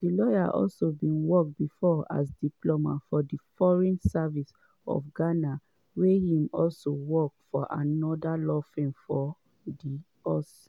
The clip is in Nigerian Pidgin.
di lawyer also bin work bifor as diplomat for di foreign service of ghana wia im also work for oda law firms for di us.